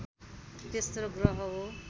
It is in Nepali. तेस्रो ग्रह हो